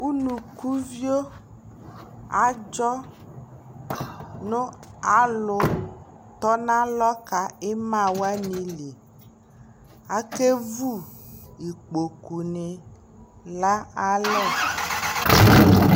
ʋnʋkʋ viɔ adzɔ nʋ alʋ tɔnʋ alɔ ka ɛma wani li, akɛ vʋ ikpɔkʋ ni la alɛ